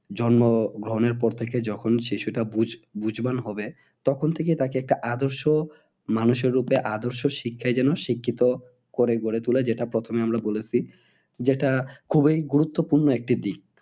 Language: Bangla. জন্মগ্রহণের পর থেকে যখন শিশুটা বুঝবান হবে তখন থেকে তাকে একটা আদর্শ মানুষের রূপে আদর্শ শিক্ষায় যেন শিক্ষিত করে গড়ে তোলায় যেটা প্রথমে আমরা বলেছি। যেটা খুবই গুরুত্বপূর্ণ একটি দিক